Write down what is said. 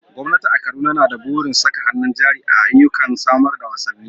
Gwamnati a Kaduna na da burin saka hannun jari a ayyukan samar da wasanni.